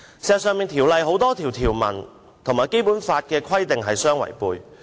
事實上，《條例草案》多項條文與《基本法》規定相違背。